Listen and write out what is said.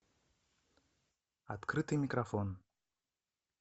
открытый микрофон